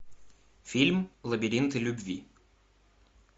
фильм лабиринты любви